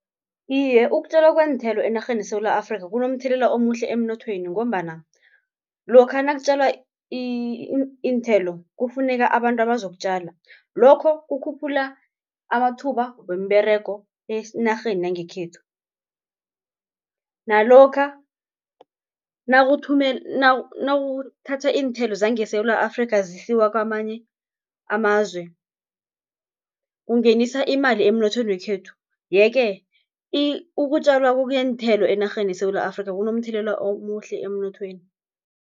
Iye ukutjalwa kweenthelo enarheni yeSewula Afrika kunomthelela omuhle emnothweni, ngombana lokha nakutjalwa iinthelo kufuneka abantu abazokutjala. Lokho kukhuphula amathuba wemiberego enarheni yangekhethu, nalokha nawuthatha iinthelo zangeSewula Afrika zisiwa kamanye amazwe kungenisa imali emnothweni wekhethu. Yeke ukutjalwa kweenthelo enarheni yeSewula Afrika kunomthelela omuhle emnothweni.